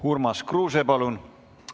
Urmas Kruuse, palun!